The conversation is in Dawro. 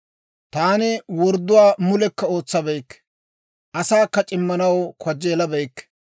«Taani wordduwaa mulekka ootsabeykke; asaakka c'immanaw kajjeelabeykke.